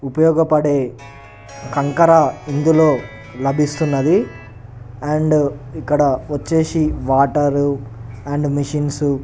ఉపయోగపడే కంకర ఇందులో లభిస్తున్నది అండ్ ఇక్కడ వచ్చేసి వాటర్ అండ్ మెషిన్స్ --